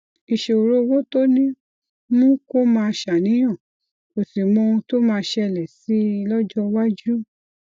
ìṣòro owó tó ní mú kó máa ṣàníyàn kò sì mọ ohun tó máa ṣẹlè sí i lójó iwájú